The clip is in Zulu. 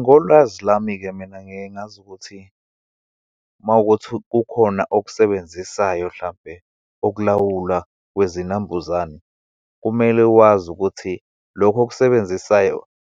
Ngolwazi lami-ke, mina ngiye ngazi ukuthi uma wukuthi kukhona okusebenzisayo, hlampe ukulawulwa kwezinambuzane. Kumele wazi ukuthi lokho okusebenzisayo